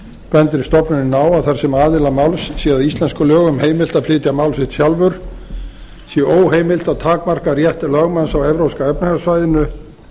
bendir stofnunin á að þar sem aðila máls sé að íslenskum lögum heimilt að flytja mál sitt sjálfur sé óheimilt að takmarka rétt lögmanns á evrópska efnahagssvæðinu